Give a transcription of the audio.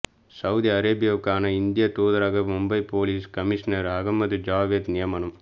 Saudi அரேபியாவுக்கான இந்திய தூதராக மும்பை போலீஸ் கமிஷனர் அஹமது ஜாவேத் நியமனம்